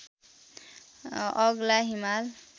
अग्ला हिमाल